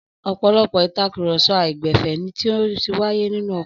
Ọ̀pọ̀lọpọ̀ ìtakùrọ̀sọ àìgbẹ̀fẹ̀ ni ó ti wáyé nínú ọkọ̀.